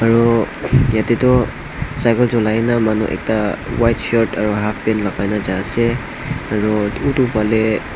aru yatae toh cycle cholaina manu ekta white shirt aro halfpant lakai na jaase aru utu falee--